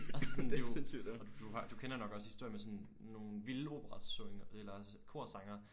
Og så sådan det jo og du har du kender jo nok også historien med sådan nogle vilde opera syng eller kor sangere